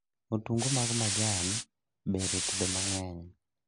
Otungu mag majan ber e tedo mang'eny